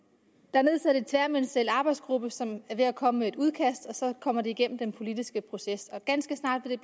er nedsat en tværministeriel arbejdsgruppe som er ved at komme med et udkast og så kommer det igennem den politiske proces ganske snart vil